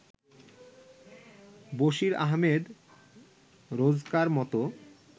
Basir Ahmed রোজকার-মত